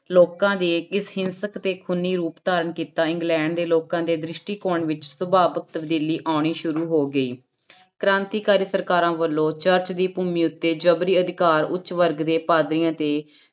ਲੋਕਾਂ ਦੇ ਇਸ ਹਿੰਸਕ ਤੇ ਖੂਨੀ ਰੂਪ ਧਾਰਨ ਕੀਤਾ ਇੰਗਲੈਂਡ ਦੇ ਲੋਕਾਂ ਦੇ ਦ੍ਰਿਸ਼ਟੀਕੋਣ ਵਿੱਚ ਸੁਭਾਵਕ ਤਬਦੀਲੀ ਆਉਣੀ ਸ਼ੁਰੂ ਹੋ ਗਈ ਕ੍ਰਾਂਤੀਕਾਰਾਂ ਸਰਕਾਰਾਂ ਵੱਲੋਂ ਚਰਚ ਦੀ ਭੂਮੀ ਉੱਤੇ ਜ਼ਬਰੀ ਅਧਿਕਾਰ ਉੱਚ ਵਰਗ ਦੇ ਪਾਧਰੀਆਂ ਤੇ